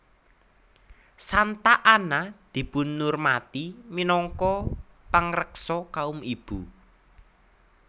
Santa Anna dipunurmati minangka pangreksa kaum ibu